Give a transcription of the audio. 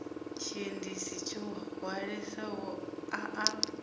tshiendisi tsho hwalesaho a a